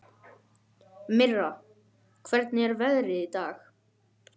Mirra, hvernig er veðrið í dag?